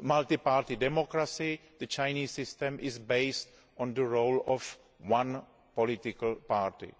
multi party democracy, while the Chinese system is based on the role of one political party.